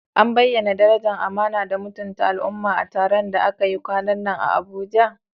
An bayyana darajar amana da mutunta al'umma a taron da aka yi kwanan nan a Abuja?